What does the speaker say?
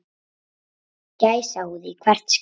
Gæsahúð í hvert skipti.